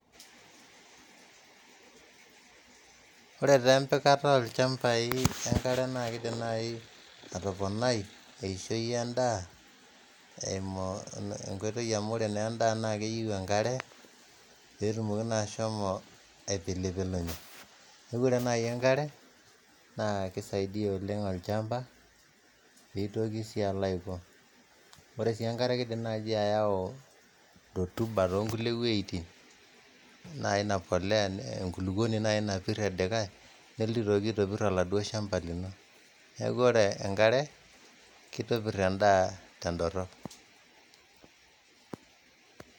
Ore taa empikata olchambai enkare naake idim nai atoponai eishoi endaa eimu nkoitoi amu ore naa endaa naake eyeu enkare pee etumoki naa ashomo apilipilunye. Neeku ore nai enkare naa kisaidia oleng' olchamba piitoki sii alo aiko. Ore sii enkare kiidim naaji ayau rotuba too nkulie wueitin nai ina polea, enkuluponi napir elikai neeltu aitoki aitopir oladuo shamba lino, neeku ore enkare kitobir endaa tendorop.